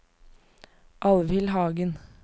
Alvhild Hagen